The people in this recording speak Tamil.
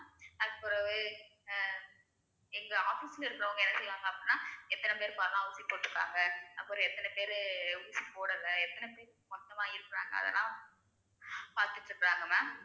அதுக்கு பிறகு ஆஹ் எங்க office ல இருக்கிறவங்க என்ன செய்வாங்க அப்படின்னா எத்தனை பேர் பாத்தா~ ஊசி போட்டிருக்காங்க அப்புறம் எத்தனை பேரு ஊசி போடலை எத்தனை பேர் மொத்தமா இருக்கிறாங்க அதெல்லாம் பார்த்துட்டு இருக்குறாங்க ma'am